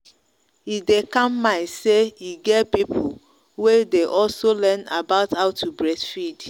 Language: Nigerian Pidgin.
e day calm mind say e get people way day also learn about how to breastfeed.